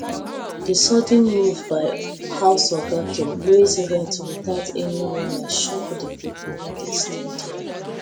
the sudden move by house oga to raise rent without any warning shock the people wey dey stay there